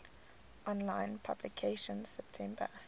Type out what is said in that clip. online publication september